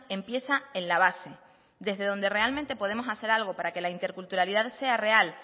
empieza en la base desde donde realmente podemos hacer algo para que la interculturalidad sea real